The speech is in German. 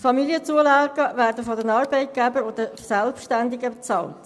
Familienzulagen werden von den Arbeitgebern und den Selbstständigerwerbenden bezahlt.